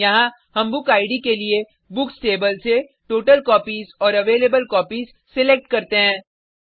यहाँ हम book id के लिए बुक्स टेबल से टोटलकॉपीज और अवेलेबलकोपीज सिलेक्ट करते हैं